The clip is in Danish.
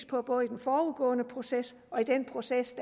på både den forudgående proces og den proces